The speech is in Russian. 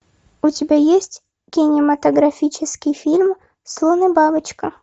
у тебя есть кинематографический фильм слон и бабочка